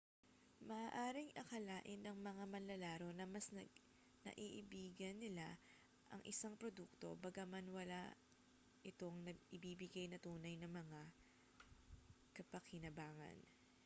maaaring akalain ng mga manlalaro na mas naiibigan nila ang isang produkto bagaman wala itong naibibigay na tunay na mga kapakinabangan